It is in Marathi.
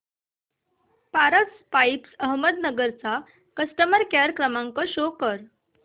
पारस पाइप्स अहमदनगर चा कस्टमर केअर क्रमांक शो करा